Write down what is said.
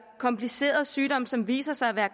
komplicerede sygdomme som viser sig at være